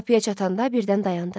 Qapıya çatanda birdən dayandı.